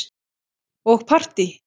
Og partí.